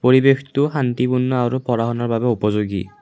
পৰিবেশটো শান্তিপূৰ্ণ আৰু পঢ়া শুনাৰ বাবে উপযোগী।